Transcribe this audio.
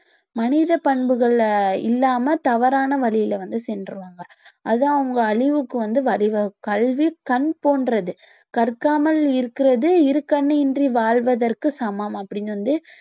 மனித பண்புகள்ல இல்லாம தவறான வழியில வந்து சென்றுவாங்க அது அவங்க அழிவுக்கு வந்து வழிவகு~ கல்வி கண் போன்றது கற்க்காமல் இருக்கிறது இருக் கண் இன்றி வாழ்வதற்கு சமம் அப்படின்னு வந்து